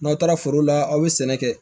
N'aw taara foro la aw bɛ sɛnɛ kɛ